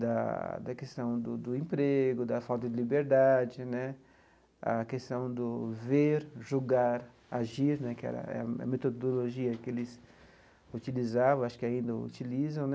da da questão do do emprego, da falta de liberdade né, a questão do ver, julgar, agir né, que era era a metodologia que eles utilizavam, acho que ainda utilizam né.